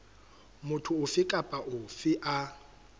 motho ofe kapa ofe a